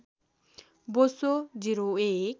बोसो ०१